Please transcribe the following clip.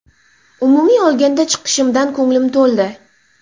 Umumiy olganda chiqishimdan ko‘nglim to‘ldi.